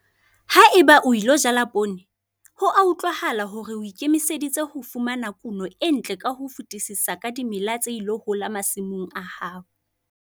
Ha eba o ilo jala poone, ho a utlwahala hore o ikemiseditse ho fumana kuno e ntle ka ho fetisisa ka dimela tse ilo hola masimong a hao.